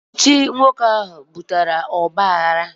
Ọchịchị nwoke ahụ butere ogbaaghara